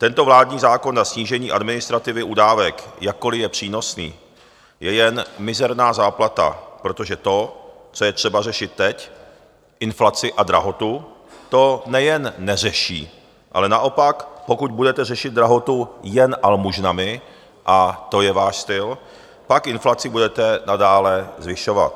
Tento vládní zákon na snížení administrativy u dávek, jakkoli je přínosný, je jen mizerná záplata, protože to, co je třeba řešit teď, inflaci a drahotu, to nejen neřeší, ale naopak, pokud budete řešit drahotu jen almužnami, a to je váš styl, pak inflaci budete nadále zvyšovat.